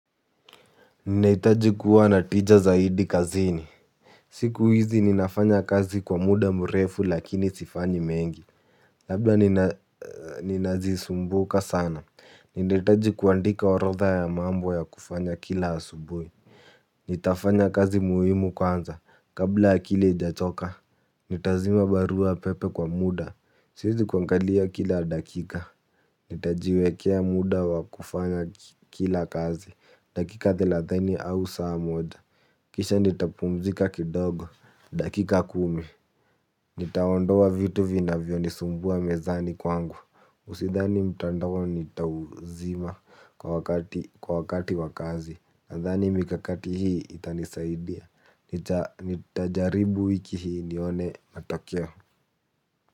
Ninahitaji kuwa na tija zaidi kazini. Siku hizi ninafanya kazi kwa muda mrefu lakini sifanyi mengi. Labda ninazisumbuka sana. Ninahitaji kuandika orodha ya mambo ya kufanya kila asubui. Nitafanya kazi muhimu kwanza. Kabla akili aijachoka. Nitazima barua pepe kwa muda. Siezi kuangalia kila dakika. Nitajiwekea muda wa kufanya kila kazi. Dakika thelathini au saa moja kisha nitapumzika kidogo. Dakika kumi. Nitaondoa vitu vinavyo nisumbua mezani kwangu Usidhani mtandao nitauzima kwa wakati wa kazi. Nadhani mikakati hii itanisaidia. Nitajaribu wiki hii nione matokeo.